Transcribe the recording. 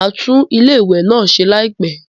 Mo máa tún ilé ìwẹ̀ náà ṣe láìpẹ́.